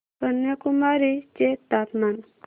कन्याकुमारी चे तापमान